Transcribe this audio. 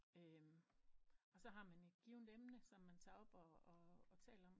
Så har man et givent emne som man tager op og taler om